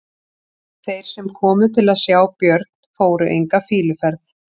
Þeir sem komu til að sjá Björn fóru enga fýluferð.